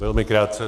Velmi krátce.